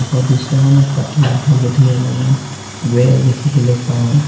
মুখৰ দৃশ্যখনত পাতলা হালধীয়া ৰঙৰ বেৰ দেখিবলৈ পাঁও।